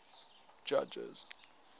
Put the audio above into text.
judges